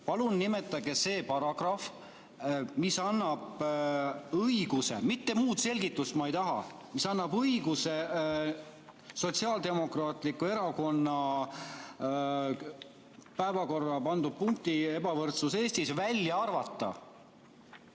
Palun nimetage see paragrahv, mis annab õiguse – muud selgitust ma ei taha, ainult seda, mis annab õiguse – Sotsiaaldemokraatliku Erakonna päevakorda pandud punkti "Ebavõrdsus Eestis" välja arvata!